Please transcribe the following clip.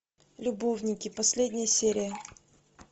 любовники последняя серия